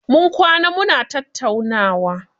Mun kwana muna tattaunawa.